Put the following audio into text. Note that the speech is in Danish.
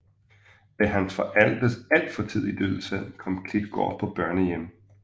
Ved hans forældres alt for tidlige dødsfald kom Klitgaard på børnehjem